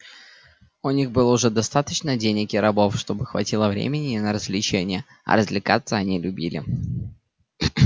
у них было уже достаточно денег и рабов чтобы хватило времени и на развлечения а развлекаться они любили